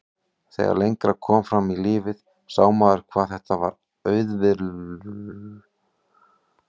Þegar lengra kom fram í lífið sá maður hvað þetta var auvirðilegur og ljótur ávani.